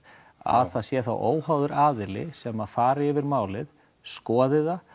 að það sé þá óháður aðili sem fari yfir málið skoði það